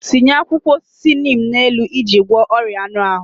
Tinye akwụkwọ osisi neem n'elu iji gwọọ ọrịa anụ ahụ.